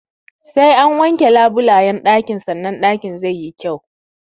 Sai an wanke labulayyan ɗakin sanan ɗakin zai yi kyau.